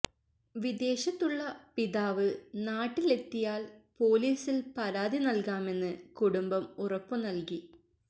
വിദേശത്തുള്ള പിതാവ് നാട്ടിലെത്തിയാൽ പൊലീസിൽ പരാതി നൽകാമെന്ന് കുടുംബം ഉറപ്പു നൽകി